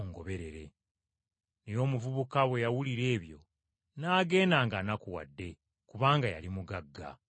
Naye omuvubuka bwe yawulira ebyo n’agenda ng’anakuwadde kubanga yali mugagga.